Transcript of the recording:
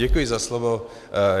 Děkuji za slovo.